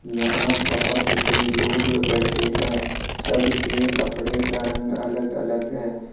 यहां बहुत से लोग बैठे हैं सबके कपड़े का रंग अलग अलग है।